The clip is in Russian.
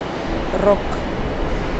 рок